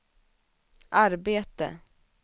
arbete